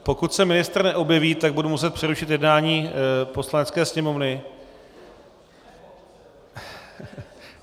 Pokud se ministr neobjeví, tak budu muset přerušit jednání Poslanecké sněmovny...